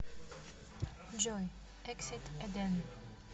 джой эксит эден